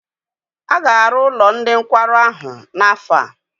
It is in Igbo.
A ga-arụ ụlọ ndị nkwarụ ahụ n'afọ a?